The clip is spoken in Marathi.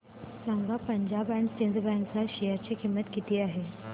सांगा पंजाब अँड सिंध बँक च्या शेअर ची किंमत किती आहे